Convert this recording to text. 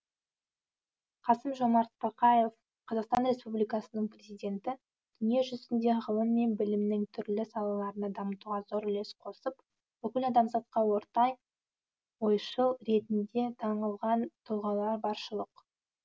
қасым жомарт тоқаев қазақстан республикасының президенті дүние жүзінде ғылым мен білімнің түрлі салаларын дамытуға зор үлес қосып бүкіл адамзатқа ортақ ойшыл ретінде танылған тұлғалар баршылық